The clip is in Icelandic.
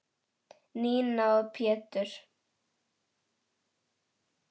Nína og Pétur.